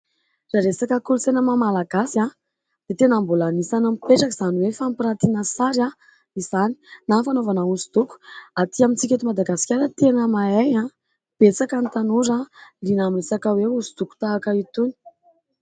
Raha resaka kolontsaina maha malagasy dia tena mbola anisany mipetraka izany hoe fampirantiana sary izany na fanaovana hoso-doko. Atỳ amintsika eto Madagasikara tena mahay betsaka ny tanora liana amin'ny resaka hoe hoso-doko tahaka itony.